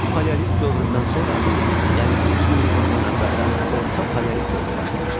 Alt paleolit dövründən sonra, yəni 100 min il bundan əvvəldən orta paleolit dövrü başlamışdı.